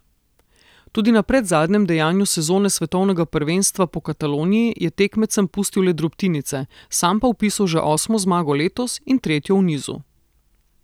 Tudi na predzadnjem dejanju sezone svetovnega prvenstva po Kataloniji je tekmecem pustil le drobtinice, sam pa vpisal že osmo zmago letos in tretjo v nizu.